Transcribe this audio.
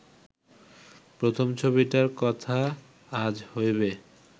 প্রথম ছবিটার কথা আজ হইবে